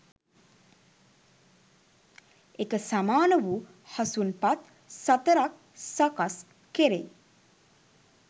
එක සමාන වූ හසුන් පත් සතරක් සකස් කෙරෙයි.